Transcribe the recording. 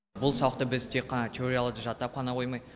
бұл сабақта біз тек теорияны жаттап қана қоймай